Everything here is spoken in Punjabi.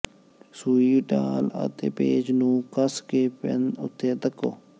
ਸੂਈ ਢਾਲ ਅਤੇ ਪੇਚ ਨੂੰ ਕੱਸ ਕੇ ਪੈਨ ਉੱਤੇ ਧੱਕੋ